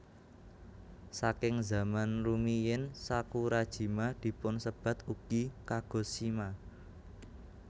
Saking zaman rumiyin Sakurajima dipunsebat ugi Kagoshima